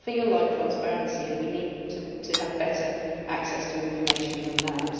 It does not feel like transparency and we need to have better access to information than that.